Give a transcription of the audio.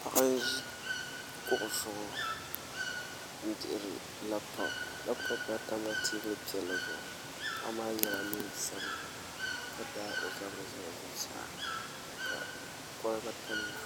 paɣa n-ʒi kuɣu zuɣu n-dihiri lapitɔpu lapitɔpu maa tamla teebuli piɛlli zuɣu paɣa maa yɛla neen sabila ka daagi o zabiri zali zuɣusaa ka kɔliba tamya